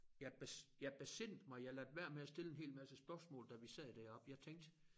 Jeg jeg besindede mig jeg lod være med at stille en hel masse spørgsmål da vi sad deroppe jeg tænkte